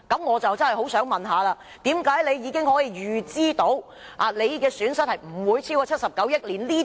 我不禁要問，為甚麼政府可以預知損失不會超過79億元？